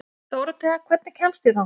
Dórothea, hvernig kemst ég þangað?